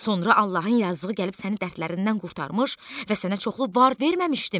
Sonra Allahın yazığı gəlib səni dərdlərindən qurtarmış və sənə çoxlu var verməmişdimi?